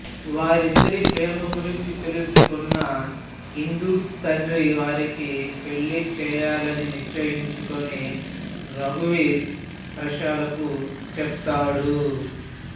వారిద్దరి ప్రేమ గురించీ తెలుసుకున్న ఇందూ తండ్రి వారికి పెళ్ళిచేయాలని నిశ్చయించుకుని రఘువీర్ హర్షలకు చెప్తాడు